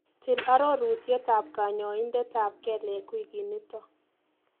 Til arorutietap kanyaindetap kelek wikinito.